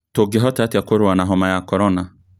Tũngĩhota atĩa kũrũa na homa ya korona?